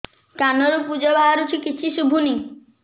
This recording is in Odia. କାନରୁ ପୂଜ ବାହାରୁଛି କିଛି ଶୁଭୁନି